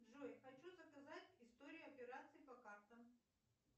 джой хочу заказать историю операций по картам